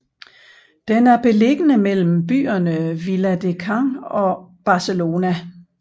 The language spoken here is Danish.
Den er beliggende mellem byerne Viladecans og Barcelona